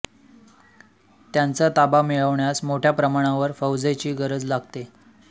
त्यांचा ताबा मिळवण्यास मोठ्या प्रमाणावर फौजेची गरज लागते